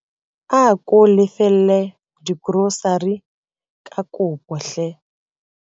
Ako lefelle dikorosari ka kopo hle.